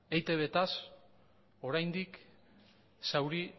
eitbz oraindik zauri